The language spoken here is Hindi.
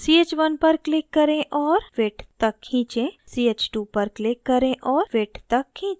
ch1 पर click करें और fit तक खींचें